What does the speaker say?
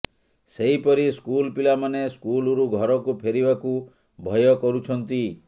ସେହିପରି ସ୍କୁଲ ପିଲାମାନେ ସ୍କୁଲରୁ ଘରକୁ ଫେରିବାକୁ ଭୟ କରୁଛନ୍ତି